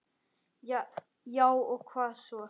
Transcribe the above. Já og hvað svo?